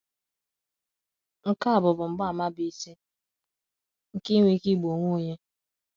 “ Nke a bụ bụ mgbaàmà bụ́ isi nke inwe ike igbu onwe onye.